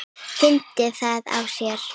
Fyndi það á sér.